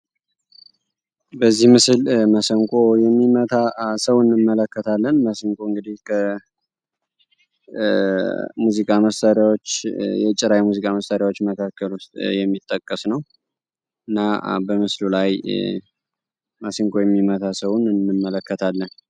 በዚህ ምስል መሰንቆ የሚመታ ሰው እንመለከታለን። መሰንቆ እንግዲህ ከጭራ የሙዚቃ መሳሪያዎች መካከል ውስጥ የሚጠቀስ ነው እና በምስሉ ላይ ማሲንቆ የሚመታ ሰውም እንመለከታለን።